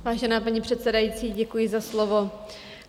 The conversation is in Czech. Vážená paní předsedající, děkuji za slovo.